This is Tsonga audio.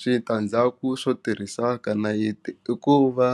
Switandzhaku swo tirhisa ka nayiti i ku va